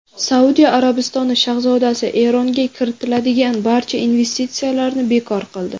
Saudiya Arabistoni shahzodasi Eronga kiritiladigan barcha investitsiyalarni bekor qildi.